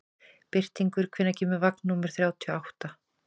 Birtingur, hvenær kemur vagn númer þrjátíu og átta?